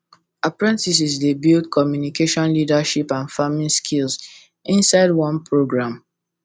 apprentices dey build communication leadership and farming skills inside one programme